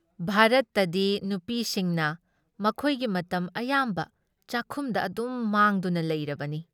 ꯚꯥꯔꯠꯇꯗꯤ ꯅꯨꯄꯤꯁꯤꯡꯅ ꯃꯈꯣꯏꯒꯤ ꯃꯇꯝꯗ ꯑꯌꯥꯝꯕ ꯆꯥꯛꯈꯨꯝꯗ ꯑꯗꯨꯝ ꯃꯥꯡꯗꯨꯅ ꯂꯩꯔꯕꯅꯤ ꯫